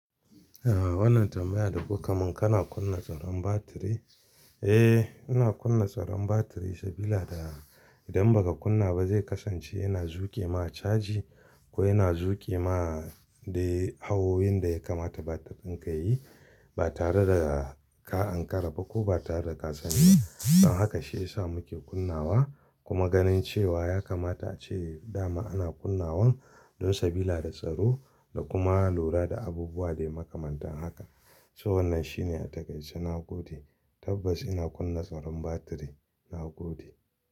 Aaa wannan tambaya da kuka mun kana kunna tsaron batiri. Eh, ina kunna tsaron batiri sabila da idan ba ka kunna ba zai kasance yana zuke ma caji ko yana zuke ma dai hawoyin da ya kamata batir dinka yayi ba tare da ka Ankara ba ko ba tare da ka sani ba. Don haka shi ya sa muke kunnawa kuma ganin cewa ya kamata ace dama ana kunnawan don sabila da tsaro da kuma lura da abubuwa dai makamantan haka. So wannan shine a takaice na gode. Tabbas ina kunna tsaron batiri, na gode.